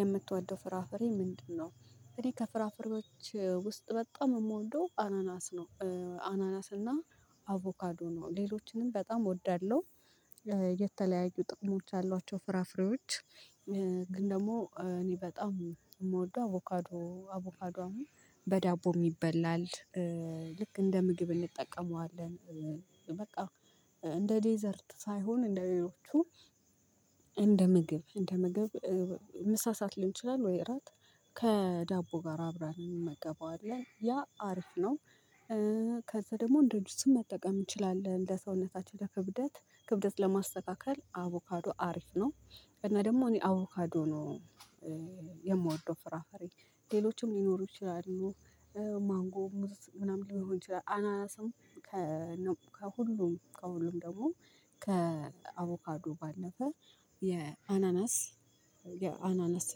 የምትወደው ፍራፍሬ ምንድነው? እኔ ከፍራፍሬዎች ውስጥ በጣም የምወደው አናናስ ነው አናናስ እና አቮካዶ ነው። ሌሎችንም በጣም እወዳለሁ የተለያዩ ጥቅሞች አሏቸው ፍራፍሬዎች። ግን ደግሞ እኔ በጣም የምወደው አቮካዶ አቮካዶ አሁን በዳቦም ይበላል። ልክ እንደ ምግብ እንጠቀመዋለን። በቃ እንደ ዴዘርት ሳይሆን እንደ ሌሎቹ እንደ ምግብ እንደ ምግብ ምሳ ሰዓት ሊሆን ይችላል ወይ እራት ከዳቦ ጋር አብረን እንመገበዋለን። ያ አሪፍ ነው። ከዛ ደግሞ እንደጁስም መጠቀም እንችላለን። ለሰውነታችን ለክብደት ክብደት ለማስተካከል አቮካዶ አሪፍ ነው። እና ደግሞ እኔ አቮካዶ ነው የምወደው ፍራፍሬ ሌሎችም ሊኖሩ ይችላሉ። ማንጎም ሙዝ ምናምን ሊሆን ይችላል አናናስም ከሁሉም ደግሞ ከአቮካዱ ባለፈ የአናናስ የአናናስ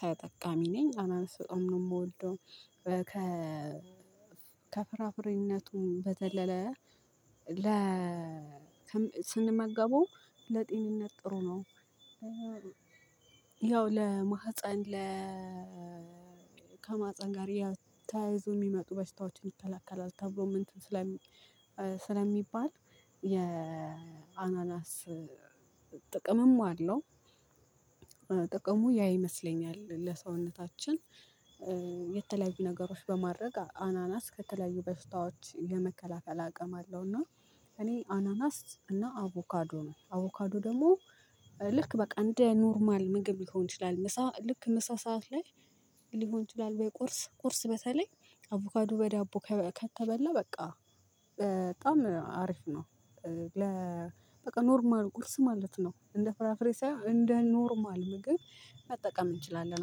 ተጠቃሚ ነኝ። አናናስ በጣም ነው። የምወደው ከ ከፍራፍሬነቱም በዘለለ ለ ስንመገበው ለጤንነት ጥሩ ነው። ያው ለማህፀን ለ ከማህፀን ጋር ያው ተያይዘው የሚመጡ በሽታዎችን ይከለከላል ተብሎ ስለሚባል የአናናስ ጥቅምም አለው። ጥቅሙ ያ ይመስለኛል ለሰውነታችን የተለያዩ ነገሮች በማድረግ አናናስ ከተለያዩ በሽታዎች ለመከላከል አቅም አለው እና እኔ አናናስ እና አቮካዶ ነው አቮካዶ ደግሞ ልክ በቃ እንደ ኖርማል ምግብ ሊሆን ይችላል። ምሳ ልክ ምሳ ሰዓት ላይ ሊሆን ይችላል ወይ ቁርስ ቁርስ በተለይ አቮካዱ በዳቦ ከተበላ በቃ በጣም አሪፍ ነው። ለ በቃ ኖርማል ቁርስ ማለት ነው እንደ ፍራፍሬ ሳይሆን እንደ ኖርማል ምግብ መጠቀም እንችላለን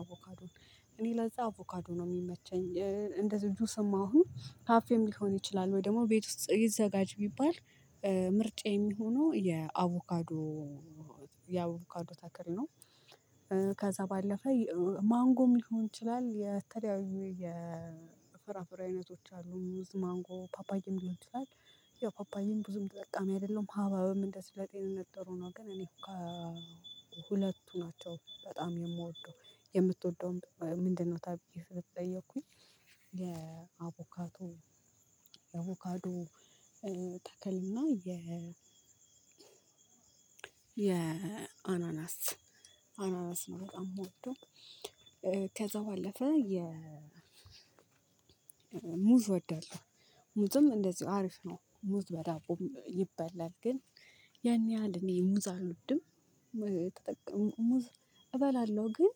አቮካዶን እኔ ለዛ አቮካዶ ነው የሚመቸኝ። እንደዚሁ ጁስም አሁን ካፌም ሊሆን ይችላል ወይ ደግሞ ቤት ውስጥ ይዘጋጅ ቢባል ምርጫዬየሚሆነው የአቮካዶ አቮካዶ ተክል ነው። ከዛ ባለፈ ማንጎም ሊሆን ይችላል። የተለያዩ የፍራፍሩ አይነቶች አሉ ሙዝ ማንጎ ፓፓዬም ሊሆን ይችላል። ያው ፓፓዬም ብዙም ተጠቃሚ አይደለሁም ሀባብም እንደዚሁ ለጤንነት ጥሩ ነው ግን እኔ ከሁለቱ ናቸው በጣም የምወደው የምትወደውም ምንድነው ተብዬ ከተጠየኩኝ የአቮካዶ የአቮካዶ ተክልና የ የአናናስ አናናስ ነው በጣም የምወደው ከዛ ባለፈ የ ሙዝ እወዳለሁ። ሙዝም እንደዚሁ አሪፍ ነው። ሙዝ በዳቦም ይበላል ግን ያን ያህል እኔ ሙዝ አልወድም። እበላለሁ ግን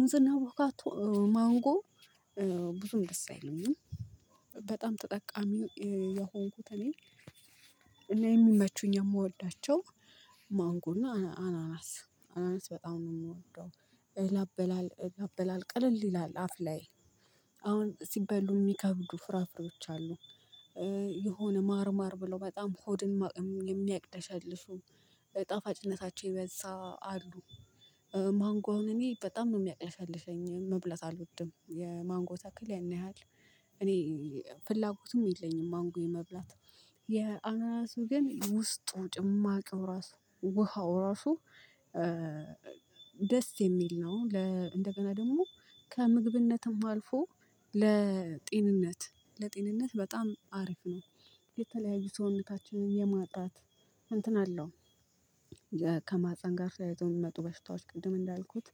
ሙዝና አቮካዶ ማንጎ ብዙም ደስ አይለኝም በጣም ተጠቃሚ የሆንኩት እኔ እኔ የሚመቹኝ የምወዳቸው ማንጎና አናናስ አናናስ በጣም ነው የምወደው ለአበላል ለአበላል ቀለል ይላል አፍ ላይ አሁን ሲበሉ የሚከብዱ ፍራፍሬዎች አሉ የሆነ ማርማር ብለው በጣም ሆድን የሚያቅለሸልሹ ጣፋጭነታቸው የበዛ አሉ ማንጎ አሁን እኔ በጣም ነው የሚያቅለሸልሸኝ። መብለት አልወድም የማንጎ ተክል ያን ያህል እኔ ፍላጎቱም የለኝም ማንጎ የመብላት የአናናሱ ግን ውስጡ ጭማቂው ራሱ ውሃው ራሱ ደስ የሚል ነው ለ እንደገና ደግሞ ከምግብነትም አልፎ ለጤንነት ለጤንነት በጣም አሪፍ ነው። የተለያዩ ሰውነታችንን የማጥራት እንትን አለው ከማህፀን ጋር ተያይዘው የሚመጡ በሽታዎች ቅድም እንዳልኩት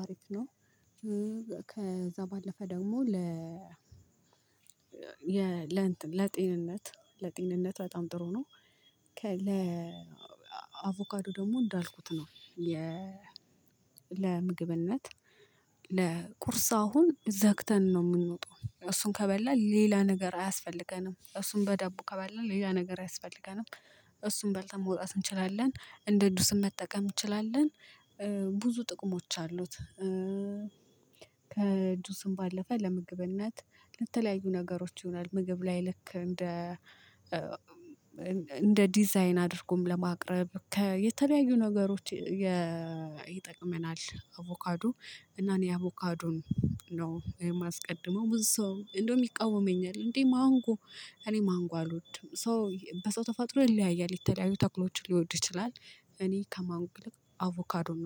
አሪፍ ነው ከዛ ባለፈ ደግሞ ለ ለጤንነት ለጤንነት በጣም ጥሩ ነው። ከ ለ አቮካዶ ደግሞ እንዳልኩት ነው። ለምግብነት ለቁርስ አሁን ዘግተን ነው የምንወጣው እሱን ከበላል ሌላ ነገር አያስፈልገንም። እሱን በዳቦ ከበላን ሌላ ነገር ያስፈልገናል እሱን በልተን መውጣት እንችላለን እንደ ጁስም መጠቀም እንችላለን ብዙ ጥቅሞች አሉት። ከጁስም ባለፈ ለምግብነት ለተለያዩ ነገሮች ይሆናል። ምግብ ላይ ልክ እንደ እንደ ዲዛይን አድርጎም ለማቅረብ ከ ነገሮች ይጠቅመናል አቮካዶ እና እኔ አቮካዶን ነው የማስቀድመው። ብዙ ሰው እንደውም ይቃወመኛል። እንዴ ማንጎ እኔ ማንጎ አልወድም ሰው በሰው ተፈጥሮ ይለያያል የተለያዩ ተክሎችን ሊወድ ይችላል እኔ ከማንጎ ይልቅ አቮካዶን ነው